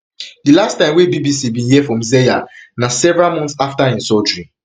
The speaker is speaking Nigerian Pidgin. di last time wey bbc bin hear from zeya na several months afta im surgery